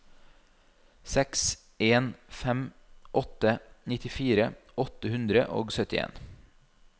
seks en fem åtte nittifire åtte hundre og syttien